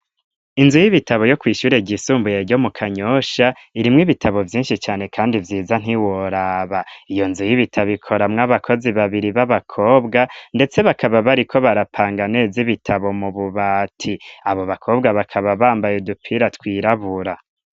Inzu y'ibitabo yo kw'ishure ryisumbuye yo mu kanyosha irimwe ibitabo byinshi cyane kandi vyiza nt'iworaba iyo nzu y'ibitabo ikora mw'abakozi babiri b'abakobwa ndetse bakaba bari ko barapanga neza ibitabo mu bubati abo bakobwa bakaba bambaye udupira twirabura.